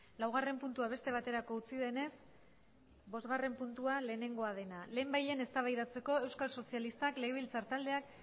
laugarren puntua beste baterako utzi denez bosgarren puntua lehenengoa dena lehenbailehen eztabaidatzeko euskal sozialistak legebiltzar taldeak